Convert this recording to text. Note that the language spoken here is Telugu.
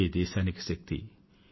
ఇదే దేశానికి శక్తి